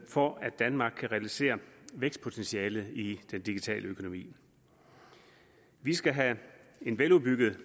for at danmark kan realisere vækstpotentialet i den digitale økonomi vi skal have en veludbygget